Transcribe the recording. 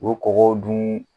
O kɔgɔw dun